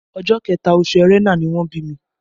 Ọjọ́ kẹta, oṣù Ẹrẹ́nà ni wọ́n bí mi